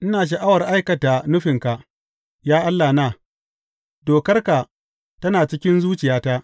Ina sha’awar aikata nufinka, ya Allahna; dokar tana cikin zuciyata.